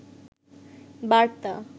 বার্তা